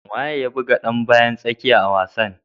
Wane ne ya buga dan bayan tsakiya a wasan?